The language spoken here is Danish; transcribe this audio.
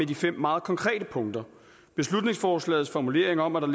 de fem meget konkrete punkter beslutningsforslagets formulering om at der